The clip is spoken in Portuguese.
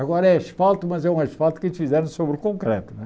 Agora é asfalto, mas é um asfalto que eles fizeram sobre o concreto né.